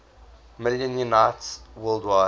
million units worldwide